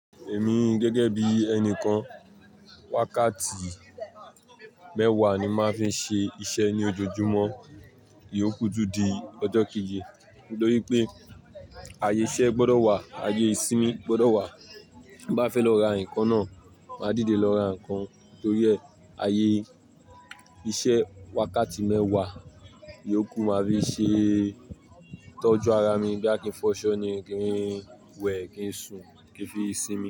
Èmi gẹ́gẹ́ bí ẹni kan, wákàtí mẹ́wàá ni máa ń fi ṣe iṣẹ́ ní ojoojúmọ́. Iyoku tun di ọjọ́ keji nitori pé, ayé iṣẹ́ gbọdọ̀ wà, ayé ìsinmi gbọdọ̀ wà. Bí mo bá fẹ́ lọ ra nǹkan náà, máa dìde lọ ra nǹkan torí ẹ, ayé iṣẹ́ wákàtí mẹ́wàá, iyoku máa fi ṣe tọ́jú ara mi boya kí ń fọṣọ ni, kí ń wẹ̀, kí ń sùn, kí n fi sí mi.